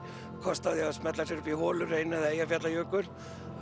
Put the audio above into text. kost á því að smella sér upp í Holuhraun eða Eyjafjallajökul